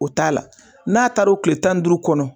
O t'a la n'a taara o kile tan ni duuru kɔnɔ.